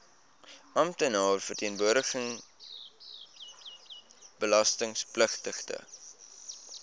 amptenaar verteenwoordigende belastingpligtige